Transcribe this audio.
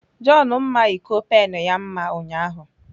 John mma iko pen ya mma ụnyahụ.